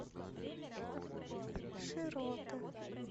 широты